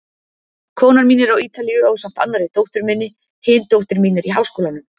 Konan mín er á Ítalíu ásamt annarri dóttur minni, hin dóttir mín er í háskólanum.